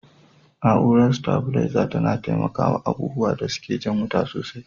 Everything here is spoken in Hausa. Na'urar sitabilarza tana taimakawa abubuwan da suke jan wuta sosai.